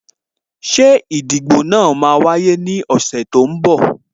Ṣé ìdìbò náà máa wáyé ní ọ̀sẹ̀ tó ń bọ̀?